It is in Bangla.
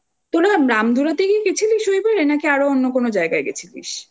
তোরা রামধুরা থেকে গেছিলিস ওই পারে নাকি আরও অন্য কোন জায়গায় গেছিলিস?